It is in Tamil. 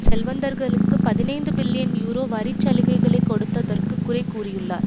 செல்வந்தர்களுக்கு பதினைந்து பில்லியன் யூரோ வரி சலுகைகளை கொடுத்தற்கு குறை கூறியுள்ளார்